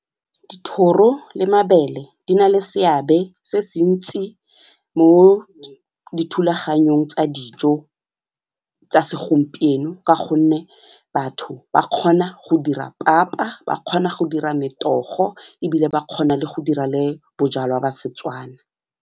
Dithoro le mabele di nale seabe se se ntsi mo dithulaganyong tsa dijo tsa segompieno ka gonne batho ba kgona go dira papa, ba kgona go dira metogo ebile ba kgona le go dira le bojalwa ba seTswana.